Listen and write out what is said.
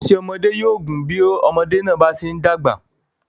Ẹsẹ̀ ọmọdé yóò máa gùn bí ọmọdé náà ṣe ń dàgbà sí i.